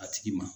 A tigi ma